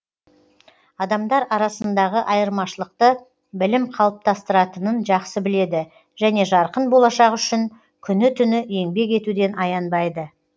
адамдар арасындағы айырмашылықты білім қалыптастыратынын жақсы біледі және жарқын болашақ үшін күні түні еңбек етуден аянбайды